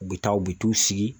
U bɛ taa u bɛ t'u sigi